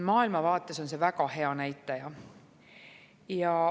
Maailma vaates on see väga hea näitaja.